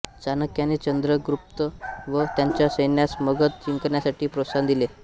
चाणक्याने चंद्रगुप्त व त्याच्या सैन्यास मगध जिंकण्यासाठी प्रोत्साहन दिले